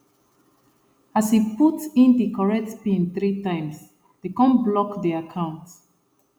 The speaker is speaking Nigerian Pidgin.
as e put in the correct pin three times dey kon block the account